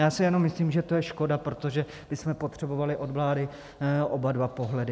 Já si jenom myslím, že to je škoda, protože bychom potřebovali od vlády oba dva pohledy.